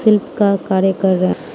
help का कार्य कर रहा --